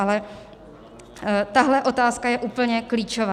Ale tahle otázka je úplně klíčová.